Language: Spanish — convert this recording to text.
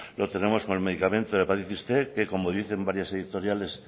lo tenemos con el medicamento de la hepatitis cien que como dicen varias editoriales